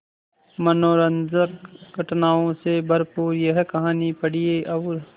मनोरंजक घटनाओं से भरपूर यह कहानी पढ़िए और